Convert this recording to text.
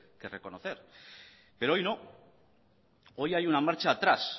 que reconocer pero hoy no hoy hay un marcha atrás